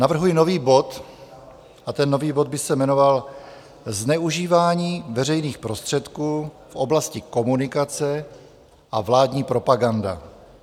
Navrhuji nový bod a ten nový bod by se jmenoval Zneužívání veřejných prostředků v oblasti komunikace a vládní propaganda.